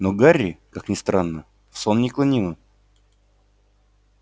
но гарри как ни странно в сон не клонило